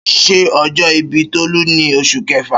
Ṣé ọjọ́ ìbí Tolu ní Oṣù Kẹfà?